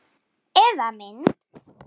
Eða mynd.